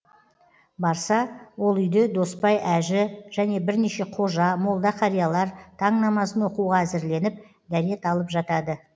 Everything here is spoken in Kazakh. барса ол үйде досбай әжі және бірнеше қожа молда қариялар таң намазын оқуға әзірленіп дәрет алып жатады